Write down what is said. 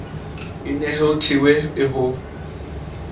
e ne e thehwe ho